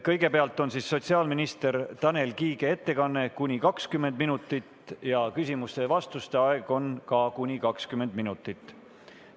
Kõigepealt on sotsiaalminister Tanel Kiige ettekanne, kuni 20 minutit, küsimuste ja vastuste aeg on ka kuni 20 minutit.